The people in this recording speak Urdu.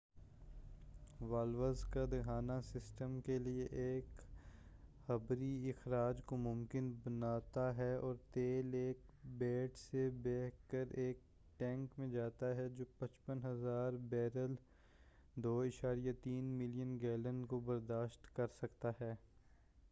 والوز کا دہانہ سسٹم کے لئے ایک جبری اخراج کو ممکن بناتا ہے اور تیل ایک پیڈ سے بہہ کر ایک ٹینک میں جاتا ہے جو 55,000 بیرل 2.3 ملین گیلن کو برداشت کر سکتا ہے۔